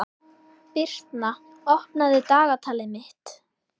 Birtna, opnaðu dagatalið mitt.